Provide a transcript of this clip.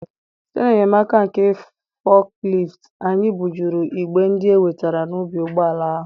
site n'enyemaka nke forklift, anyị bujuru igbe ndị e wetara n'ubi n'ụgbọala ahụ.